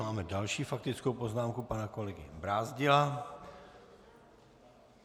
Máme další faktickou poznámku pana kolegy Brázdila.